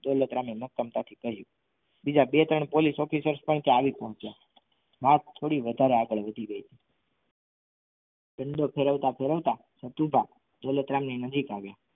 દોલતરામે મક્કમતાથી કહ્યું બીજા બે ત્રણ police officers પણ ત્યાં આવી પહોંચ્યા. વાત થોડી વધારે આગળ વધી ગઈ દંડો ફેરવતા ફેરવતા સતુભા દોલતરામ ની નજીક આવ્યા.